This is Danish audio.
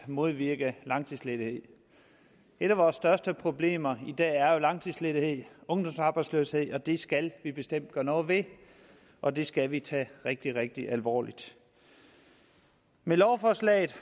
at modvirke langtidsledighed et af vores største problemer i dag er jo langtidsledighed og ungdomsarbejdsløshed det skal vi bestemt gøre noget ved og det skal vi tage rigtig rigtig alvorligt med lovforslaget